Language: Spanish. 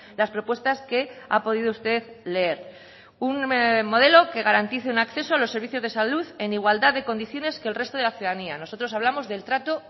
las propuestas que ha podido usted leer un modelo que garantice un acceso a los servicios de salud en igualdad de condiciones que el resto de la ciudadanía nosotros hablamos del trato